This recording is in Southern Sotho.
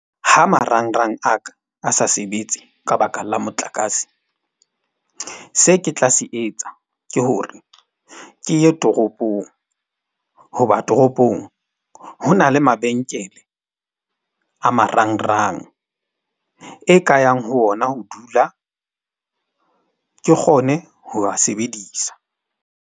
Ha marangrang a ka a sa sebetse ka baka la motlakase, se ke tla se etsa ke hore ke ye toropong hoba toropong. Ho na le mabenkele a marangrang e ka yang ho ona. Ho dula ke kgone ho a sebedisa.